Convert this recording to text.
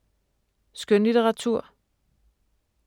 Skønlitteratur